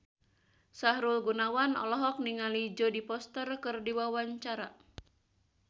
Sahrul Gunawan olohok ningali Jodie Foster keur diwawancara